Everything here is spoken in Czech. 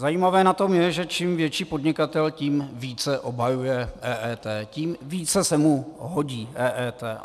Zajímavé na tom je, že čím větší podnikatel, tím více obhajuje EET, tím více se mu hodí EET.